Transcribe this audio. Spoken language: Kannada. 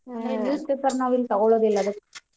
Speaker 1: ಅಂದ್ರೆ newspaper ನಾವು ಇಲ್ಲಿ ತಗೋಳೋದಿಲ್ಲ ಅದಿಕ್ಕೆ.